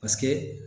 Paseke